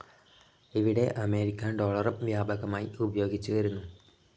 ഇവിടെ അമേരിക്കൻ ഡോളറും വ്യാപകമായി ഉപയോഗിച്ചുവരുന്നു.